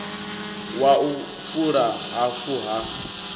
wa u fula hafu ha